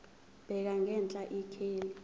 bheka ngenhla ikheli